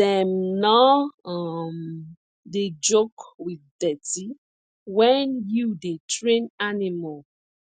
dem nor um dey joke with dirty when you dey train animal